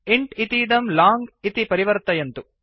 int इतीदं long इति परिवर्तयन्तु